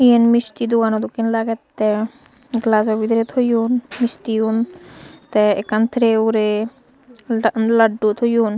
yen misti dogano dokken lagette gelajo bidire toyon misti un te ekkan tere ugure la laddu toyon.